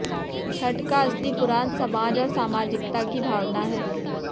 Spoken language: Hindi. छठ का असली पुराण समाज और सामाजिकता की भावना है